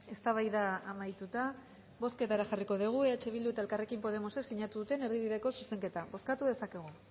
eztabaida amaituta bozketara jarriko dugu eh bildu eta elkarrekin podemosek sinatu duten erdibideko zuzenketa bozkatu dezakegu